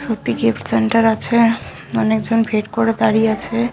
অনেকজন ভিড় করে দাঁড়িয়ে আছে ।